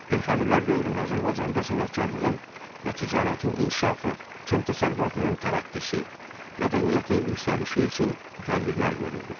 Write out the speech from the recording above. Elxanilər dövründə Azərbaycanda sənətkarlığın və ticarətin inkişafı, kənd təsərrüfatının tərəqqisi, mədəniyyətin yüksəlişi üçün tədbirlər görüldü.